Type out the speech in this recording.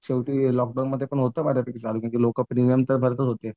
शेवट लॉकडाऊनमध्ये होतं बऱ्यापैकी चालू लोकं प्रीमियम तर भरतच होते.